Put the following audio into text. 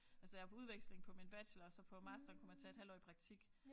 Altså jeg var på udveksling på min bachelor og så på masteren kunne man tage et halvt år i praktik